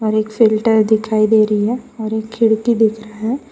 और एक फ़िल्टर दिखाई दे रही है और एक खिड़की दिख रहा है।